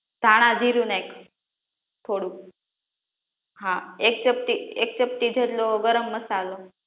ધાણાજીરુ નાખ થોડુક હા એક ચપટી એક ચપટી જેટલો ગરમ મસાલો